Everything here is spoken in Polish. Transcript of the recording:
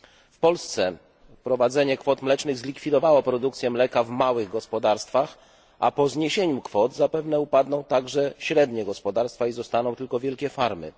W Polsce wprowadzenie kwot mlecznych zlikwidowało produkcję mleka w małych gospodarstwach, a po zniesieniu kwot zapewne upadną także średnie gospodarstwa i zostaną tylko wielkie farmy.